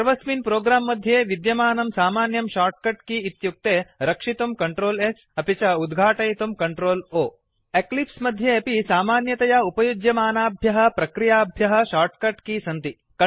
सर्वस्मिन् प्रोग्राम् मध्ये विद्यमानं सामान्यं shortcut केय इत्युक्ते रक्षितुं CtrlS अपि च उद्घाटयितुं CtrlO एक्लिप्स् मध्ये अपि सामान्यतया उपयुज्यमानाभ्यः प्रक्रियाभ्यः शॉर्टकट केय सन्ति